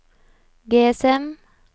GSM